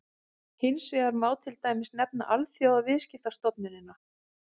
hins vegar má til dæmis nefna alþjóðaviðskiptastofnunina